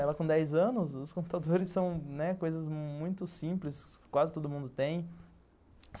Ela com dez anos, os computadores são, né, coisas muito simples, quase todo mundo tem.